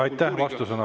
Aitäh!